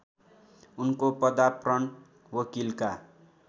उनको पदार्पण वकिलका